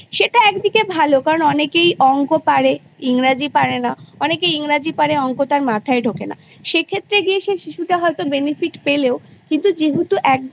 সেটা একদিকে ভালো কারণ অনেকেই অঙ্ক পারে ইংরাজী পারে না অনেকে ইংরাজী পারে অঙ্ক তার মাথায় ঢোকে না সেক্ষেত্রে গিয়ে সে শিশুটা হয়তো Benefit পেলেও কিন্তু যেহেতু একদম